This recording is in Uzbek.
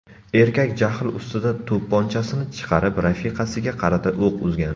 Erkak jahl ustida to‘pponchasini chiqarib, rafiqasiga qarata o‘q uzgan.